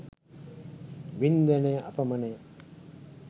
වින්දනය අපමණය.